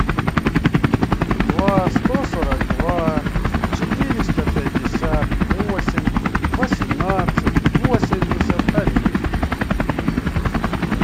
два сто сорок два четыреста пятьдесят восемь восемнадцать восемьдесят один